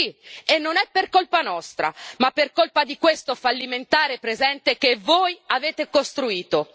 Sì, e non è per colpa nostra, ma per colpa di questo fallimentare presente che voi avete costruito.